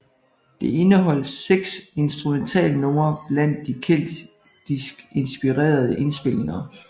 Det indeholdt seks instrumentalnumre blandt de keltisk inspirerede indspilninger